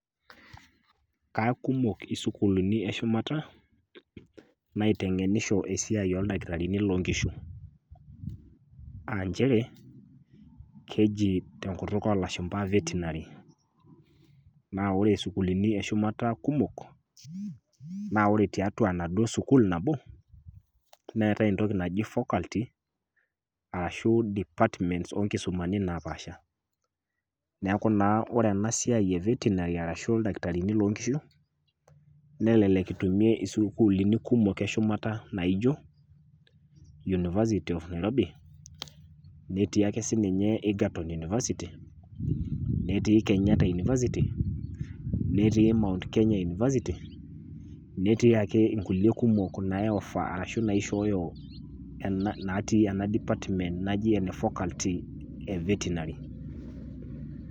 Kaikumok isukulini e shumata, naiteng'enishonesiai oldakitarini loo nkishu. A nchere keji tenkutuk o ilashumba veterinary ,naa ore isukulini e shumata kumok naa ore tiatua enaduo sukuul nabo, neatai entoki naji faculty ashu department o nkisumani napaasha. Neaku naa ore ena Siai e veterinary ashu ildakitarini loo nkishu, nelelek itumie isukulini kumok e shumata naijo, University of Nairobi, etii ake siininye Egerton university, netii Kenyatta university, netii Mt Kenya university, netii ake inkulie kumok naiofa ashu naishooyo ena natii ena department naaji ene faculty e veterinary.